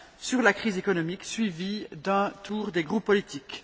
sur la crise économique, suivie d'un tour des groupes politiques.